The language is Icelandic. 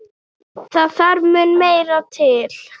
Það þarf mun meira til.